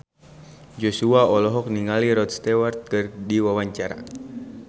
Joshua olohok ningali Rod Stewart keur diwawancara